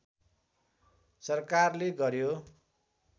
सरकारले गर्‍यो